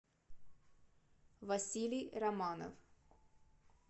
василий романов